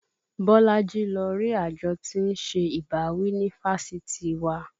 Bolaji lọ rí àjọ tí ń ṣe ìbáwí ní fáṣítì wa